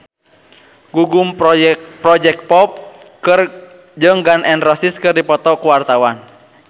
Gugum Project Pop jeung Gun N Roses keur dipoto ku wartawan